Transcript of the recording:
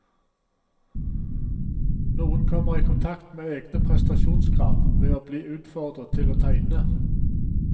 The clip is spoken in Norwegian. Noen kommer i kontakt med egne prestasjonskrav ved å bli utfordret til å tegne.